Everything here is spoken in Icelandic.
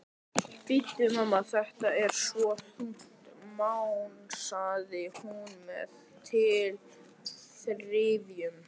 Bíddu, mamma, þetta er svo þungt, másaði hún með tilþrifum.